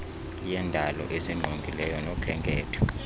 yendalo esingqongileyo nokhenketho